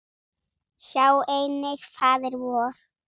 Sjá einnig Faðir vor